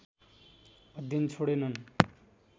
अध्ययन छोडेनन्